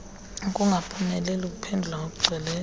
ukungaphumeleli ukuphendula ngokugcweleyo